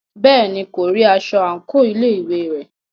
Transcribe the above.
Bẹ́ẹ̀ni, kò rí aṣọ àńkò ilé ìwé rẹ̀.